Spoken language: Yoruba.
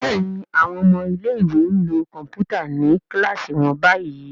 Béèni àwọn ọmọ ilé ìwé nlò Kọ̀ǹpútà ní kilasi wón bayí.